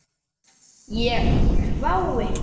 Ég hvái.